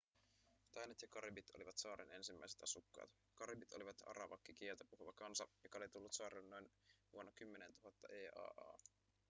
tainot ja karibit olivat saaren ensimmäiset asukkaat karibit olivat arawakkikieltä puhuva kansa joka oli tullut saarelle noin vuonna 10 000 eaa